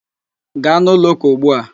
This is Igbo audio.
Gaa n'ụlọ ụka ugbu a!